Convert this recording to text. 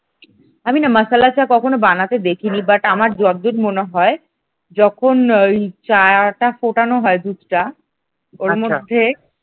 আমি না মাসালা চা কখনো বানাতে দেখিনি but আমার যতদূর মনে হয় যখন ওই চাটা ফোটানো হয় দুধটা ওর মধ্যে